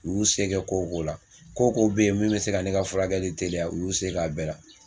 U y'u se kɛ ko o ko la, ko o ko bɛ yen min bɛ se ka ne ka furakɛli teliya u y'u se k'a bɛɛ la.